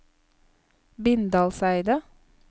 Bindalseidet